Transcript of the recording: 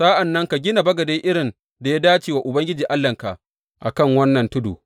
Sa’an nan ka gina bagade irin da ya dace wa Ubangiji Allahnka a kan wannan tudu.